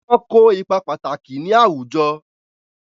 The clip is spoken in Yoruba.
Wọ́n kó ipá pàtàkì ní àwùjọ.